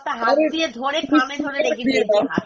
হাত দিয়ে ধরে কানে ধরে রেখে দিয়েছি, আরে তুমি speaker এ দিয়ে দাও